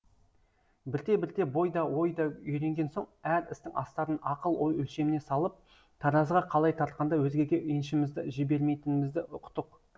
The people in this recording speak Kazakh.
бірте бірте бой да ой да үйренген соң әр істің астарын ақыл ой өлшеміне салып таразыға қалай тартқанда өзгеге еншімізді жібермейтінімізді ұқтық